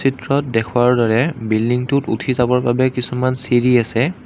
চিত্ৰত দেখুওৱাৰ দৰে বিল্ডিংটোত উঠি যাবৰ বাবে কিছুমান চিৰি আছে।